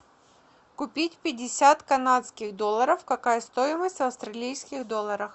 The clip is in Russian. купить пятьдесят канадских долларов какая стоимость в австралийских долларах